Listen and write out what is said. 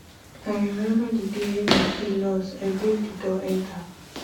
i rememba di day wey my key loss i break di door enta